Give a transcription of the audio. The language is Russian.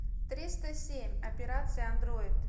триста семь операция андроид